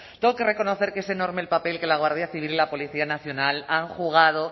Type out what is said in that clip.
tengo que reconocer que es enorme el papel que la guardia civil la policía nacional han jugado